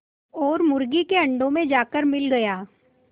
और मुर्गी के अंडों में जाकर मिल गया